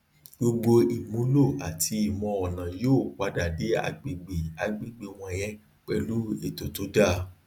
gbogbo ìmúlò àti imọọnà yóò padà dé agbègbè agbègbè wọnyẹn pẹlú ètò tó dáa